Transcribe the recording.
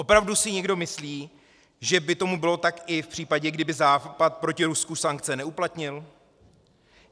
Opravdu si někdo myslí, že by tomu tak bylo i v případě, kdyby západ proti Rusku sankce neuplatnil?